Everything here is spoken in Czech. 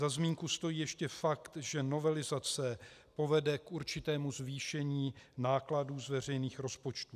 Za zmínku stojí ještě fakt, že novelizace povede k určitému zvýšení nákladů z veřejných rozpočtů.